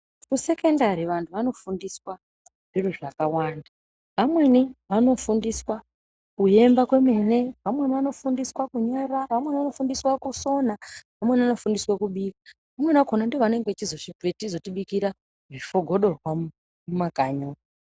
Kusekondari vantu vanofundiswa zviro zvakawanda vamweni vanofundiswa kuyemba kwemene vamweni vanofundiswa kunyora vamweni vanofundiswa kusona vamweni vanofundiswa kubika vamweni vakhona ndivo vanenge vachizotibikira zvifogodorwa mumakanyi umu.